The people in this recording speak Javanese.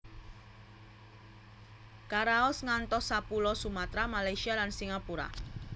Karaos ngantos sapulo Sumatra Malaysia lan Singapura